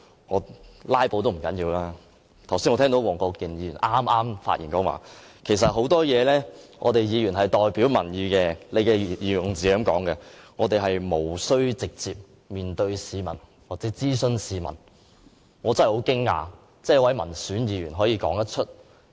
這樣也還不要緊，我剛才聽到黃國健議員剛剛發言說，其實很多事情議員是代表民意的——他的用字是這樣的："我們是不需要直接面對市民作出諮詢"——我真的很驚訝，一位民選議員竟可說這種話。